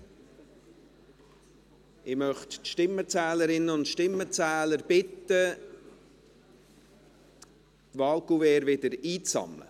Ich möchte die Stimmenzählerinnen und Stimmenzähler bitten, die Wahlkuverts wieder einzusammeln.